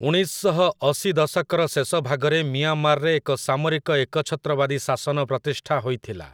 ଉଣେଇଶ ଶହ ଅଶି ଦଶକର ଶେଷଭାଗରେ ମିଆଁମାରରେ ଏକ ସାମରିକ ଏକଛତ୍ରବାଦୀ ଶାସନ ପ୍ରତିଷ୍ଠା ହୋଇଥିଲା ।